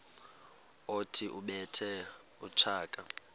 othi ubethe utshaka